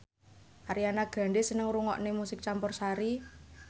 Ariana Grande seneng ngrungokne musik campursari